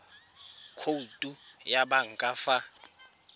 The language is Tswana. khoutu ya banka fa ba